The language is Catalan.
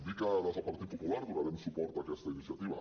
dir que des del partit popular donarem suport a aquesta iniciativa